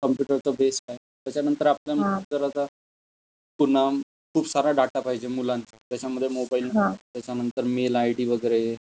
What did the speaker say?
Computer च base point त्याच्या नंतर आपण नंतर आता पुन्हा खूप सारा डाटा पाहिजे मुलांचा, त्याच्या मध्ये मोबाईल नंबर त्याच्या नंतर मेल आयडी वगैरे.